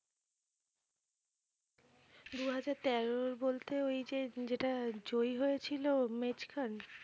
দু হাজার তেরোর বলতে ওই যে যেটার জয়ী হয়েছিল